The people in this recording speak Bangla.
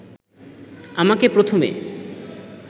আমাকে প্রথমে